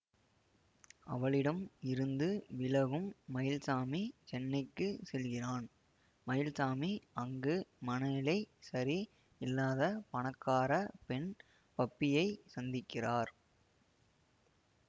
அவளிடம் இருந்து விலகும் மயில்சாமி சென்னைக்குச் செல்கிறான் மயில்சாமி அங்கு மனநிலை சரி இல்லாத பணக்கார பெண் பப்பியை சந்திக்கிறார்